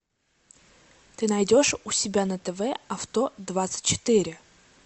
ты найдешь у себя на тв авто двадцать четыре